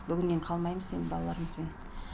бүгіннен қалмаймыз енді балаларымызбен